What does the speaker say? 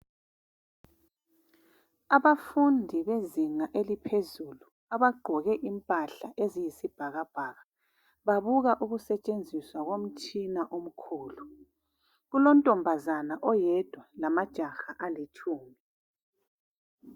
Abafundi bezinga eliphezulu abagqoke impahla eziyisibhakabhaka babuka ukusetshenziswa komtshina omkhulu, kulontombazana oyedwa lamajaha alitshumi.